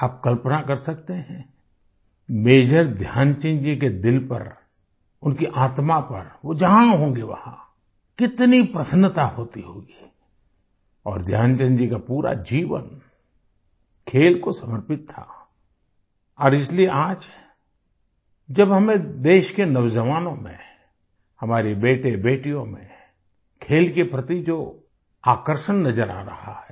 आप कल्पना कर सकते हैं मेजर ध्यानचंद जी के दिल पर उनकी आत्मा पर वो जहां होंगे वहां कितनी प्रसन्नता होती होगी और ध्यानचंद जी का पूरा जीवन खेल को समर्पित था और इसलिए आज जब हमें देश के नौजवानों में हमारे बेटेबेटियों में खेल के प्रति जो आकर्षण नजर आ रहा है